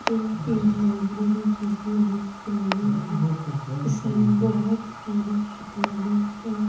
जो की लाइब्रेरी जैसी दिख रही है इसमें बहोत सारी किताबें है।